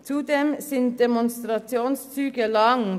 Zudem sind Demonstrationszüge lang.